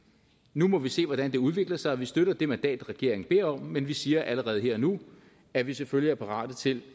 nu må vi se hvordan det udvikler sig vi støtter det mandat regeringen beder om men vi siger allerede her og nu at vi selvfølgelig er parate til